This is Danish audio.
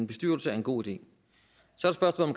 bestyrelse er en god idé så er